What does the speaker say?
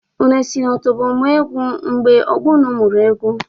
Unu esi na otobo mụọ egwu mgbe ọgbọ unu mụrụ egwu?